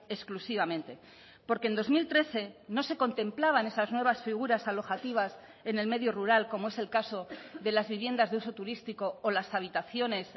exclusivamente porque en dos mil trece no se contemplaban esas nuevas figuras alojativas en el medio rural como es el caso de las viviendas de uso turístico o las habitaciones